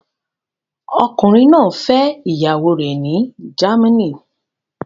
Ọkùnrin náà fẹ́ ìyàwó rẹ̀ ní Germany